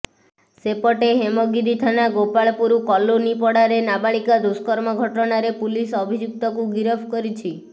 ସେପଟେ ହେମଗିରି ଥାନା ଗୋପାଳପୁର କଲୋନୀ ପଡ଼ାରେ ନାବାଳିକା ଦୁଷ୍କର୍ମ ଘଟଣାରେ ପୁଲିସ ଅଭିଯୁକ୍ତକୁ ଗିରଫ କରିଛି